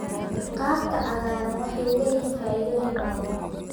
Khadka cagaaran waxay leeyihiin faa'iidooyin badan.